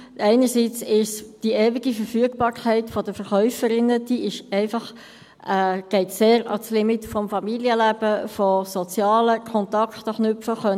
Einerseits geht die ewige Verfügbarkeit der Verkäuferinnen sehr ans Limit des Familienlebens und des Knüpfens und Pflegens von sozialen Kontakten.